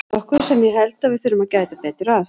Hér er nokkuð sem ég held að við þurfum að gæta betur að.